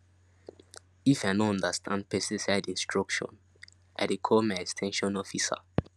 if i no understand pesticide instruction i dey call my ex ten sion officer